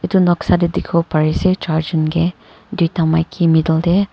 etu noksa dekhu parese church en ke due ta maiki middle te.